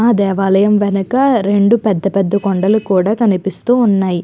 ఆ దేవయాలం వెనుక రెండు పెద్ద పెద్ద కొండలు కూడా కనిపిస్తూ ఉన్నాయి.